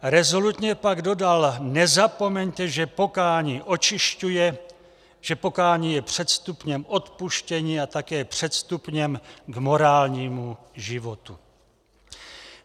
Rezolutně pak dodal: Nezapomeňte, že pokání očišťuje, že pokání je předstupněm odpuštění a také předstupněm k morálnímu životu.